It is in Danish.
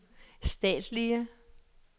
statslige